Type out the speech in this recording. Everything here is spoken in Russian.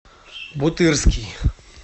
бутырский